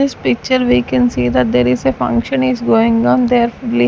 in this picture we can see that there is a function is going on there only --